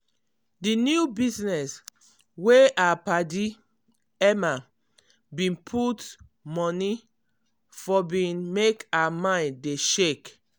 di new business wey her padi emma bin put money forbin make her mind dey shake.